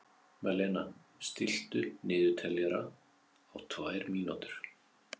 Malena, stilltu niðurteljara á tvær mínútur.